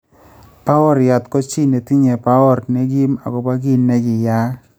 Bawooryat ko chi ne tinye bawoor nekim akobo ki ne kiyaak